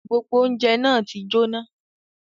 Gbogbo ọ̀unjẹ na ti jóná